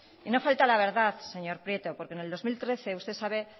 y no falte a la verdad señor prieto porque en el dos mil trece usted sabe